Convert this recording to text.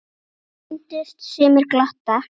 Henni sýndust sumir glotta.